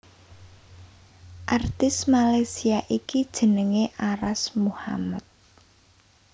Artis Malaysia iki jenengé Arash Muhammad